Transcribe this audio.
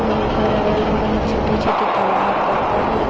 आउ ओकर अगल-बगल में छोटे-छोटे तालाब पत्थर हे।